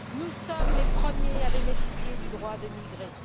Nous sommes les premiers à bénéficier du droit de migrer.